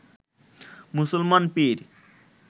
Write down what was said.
মুসলমান পীর